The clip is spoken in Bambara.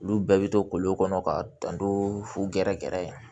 Olu bɛɛ bɛ to kolon kɔnɔ ka dan don fu gɛrɛ gɛrɛ ye